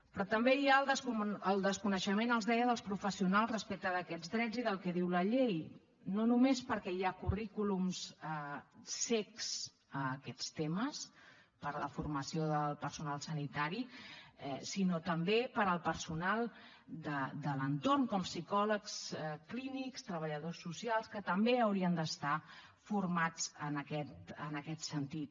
però també hi ha el desconeixement els ho deia dels professionals respecte d’aquests drets i del que diu la llei no només perquè hi ha currículums cecs a aquests temes per la formació del personal sanitari sinó també per al personal de l’entorn com psicòlegs clínics treballadors socials que també haurien d’estar formats en aquest sentit